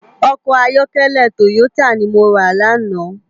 Òkò àyòkèlè tóyótá ni mó rá làná